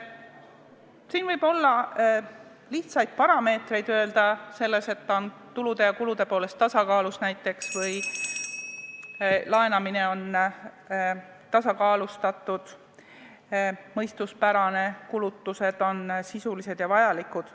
Siin võib öelda lihtsaid parameetreid, et ta on kulude ja tulude poolest tasakaalus või laenamine on tasakaalustatud, mõistuspärane, kulutused on sisulised ja vajalikud.